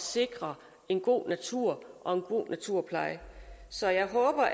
sikre en god natur og en god naturpleje så jeg håber